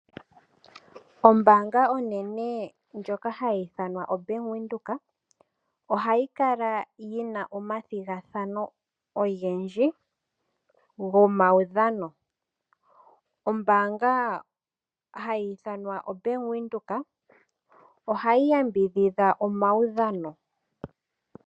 Ombaanga onene ndjoka hayi ithanwa oBank Windhoek ohayi kala yi na omathigathano ogendji gomaudhano. Ombaanga hayi ithanwa oBank Windhoek ohayi yambidhidha omaudhano.